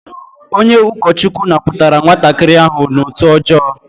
Onye ukochukwu naputara nwatakiri ahu n'otu ojoo